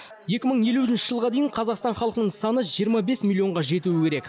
екі мың елуінші жылға дейін қазақстан халқының саны жиырма бес миллионға жетуі керек